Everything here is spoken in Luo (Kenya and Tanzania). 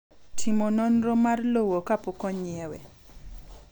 Timo nonro mar lowo kapok onyiewe